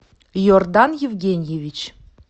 иордан евгеньевич